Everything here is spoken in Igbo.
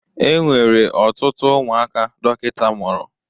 E nwere ọtụtụ ụmụaka dokita mụrụ.